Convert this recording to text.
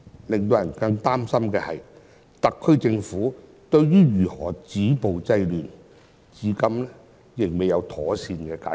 令人更擔心的是，特區政府對於如何止暴制亂的問題，至今仍未能妥善解決。